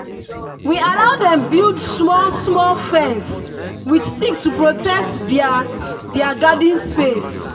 we allow dem build small-small fence with stick to protect their their garden space.